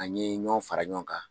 An ɲe ɲɔn fara ɲɔn kan.